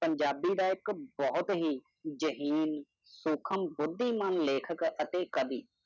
ਪੰਜਾਬੀ ਦਾ ਇੱਕ ਬਹੁਤ ਹੀ ਜਹੀਨ, ਸੂਖਮ, ਬੁੱਧੀਮਾਨ ਲੇਖਕ ਅਤੇ ਕਵੀ